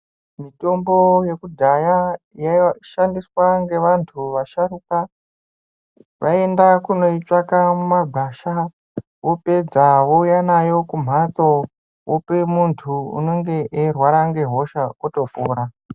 Mitombo yekudhaya yaishandiwa ngevantu vasharukwa vaienda kunoitsvaka kumagwasha opedza ouye nayo kumbanzo ope muntu unenge eirwara ngehosha otopora.